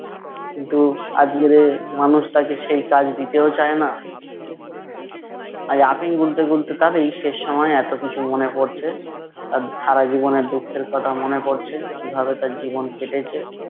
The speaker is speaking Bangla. কিন্তু আজকের এই মানুষটাকে সেই কাজ দিতেও চায় না। আজ আফিম গিলতে গিলতে তার এই শেষ সময়ে এতো কিছু মনে পড়ছে। তার সারাজীবনের দুঃখের কথা মনে পড়ছে, কীভাবে তার জীবন কেটেছে।